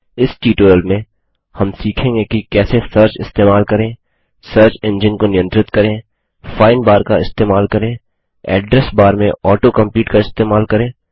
इस ट्यूटोरियल में हम सीखेंगे कि कैसे सर्च इस्तेमाल करें सर्च एंजिन को नियंत्रित करें फाइंड बार का इस्तेमाल करें एड्रेस बार में auto कंप्लीट का इस्तेमाल करें